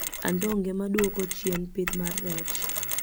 Andonge maduoko chien pith mar rech